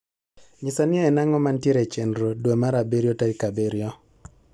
nyisa ni en ango mantie e chenro dwe mar abirio tarik abirio